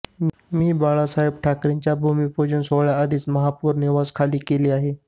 मी बाळासाहेब ठाकरेंच्या भूमिपूजन सोहळ्याआधीच महापौर निवास खाली केले आहे